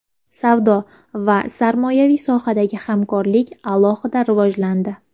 Savdo va sarmoyaviy sohadagi hamkorlik alohida rivojlandi.